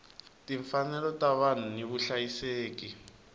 timfanelo ta vanhu ni vuhlayiseki